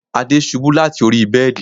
Ade ṣubú láti orí bẹ́ẹ̀dì